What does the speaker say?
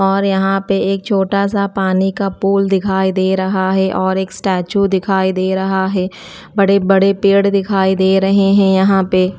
और यहां पे एक छोटा सा पानी का पूल दिखाई दे रहा है और एक स्टेच्यू दिखाई दे रहा है बड़े बड़े पेड़ दिखाई दे रहे हैं यहां पे।